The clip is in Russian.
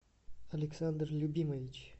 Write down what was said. александр любимович